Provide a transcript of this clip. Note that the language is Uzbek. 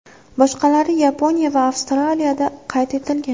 Boshqalari Yaponiya va Avstraliyada qayd etilgan.